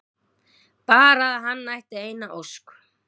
Bara að hann ætti eina ósk!